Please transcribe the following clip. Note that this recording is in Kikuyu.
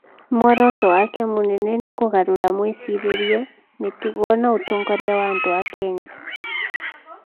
Muoroto wake mũnene nĩ kũgarũra mwĩcirĩrie, mĩtugo na ũtongoria wa andũ a Kenya.